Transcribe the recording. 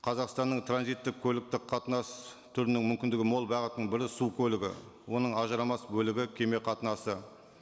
қазақстанның транзиттік көліктік қатынас түрінің мүмкіндігі мол бағытының бірі су көлігі оның ажырамас бөлігі кеме қатынасы